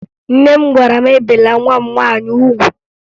Nne m gwara m ebele nwa m nwaanyị ugwu